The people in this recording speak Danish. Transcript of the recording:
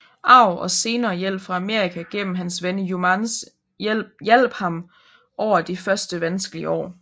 Arv og senere hjælp fra Amerika gennem hans ven Youmans hjalp ham over de første vanskelige år